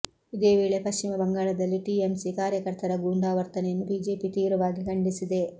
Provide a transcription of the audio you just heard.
ಇದೇ ವೇಳೆ ಪಶ್ಚಿಮ ಬಂಗಾಳದಲ್ಲಿ ಟಿಎಂಸಿ ಕಾರ್ಯಕರ್ತರ ಗೂಂಡಾವರ್ತನೆಯನ್ನು ಬಿಜೆಪಿ ತೀವ್ರವಾಗಿ ಖಂಡಿಸಿದೆ